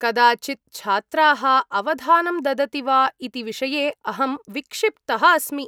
कदाचित्, छात्राः अवधानं ददति वा इति विषये अहं विक्षिप्तः अस्मि।।